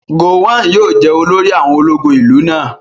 Gowon yóò jẹ́ olórí àwọn ológun ìlú náà